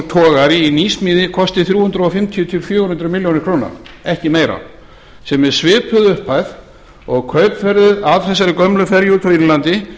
togari í nýsmíði kosti þrjú hundruð fimmtíu til fjögur hundruð milljóna króna ekki meira sem er svipuð upphæð og kaupverðið á þessari gömlu ferju frá írlandi